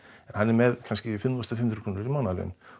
en hann er með kannski fimm þúsund fimm hundruð íslenskar krónur í mánaðarlaun